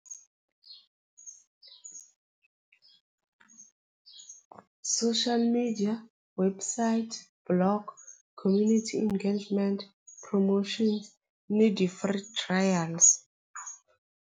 Social media website block community engagement promotion ni trials.